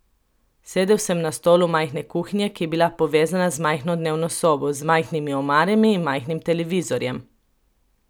Sedel sem na stolu majhne kuhinje, ki je bila povezana z majhno dnevno sobo z majhnimi omarami in majhnim televizorjem.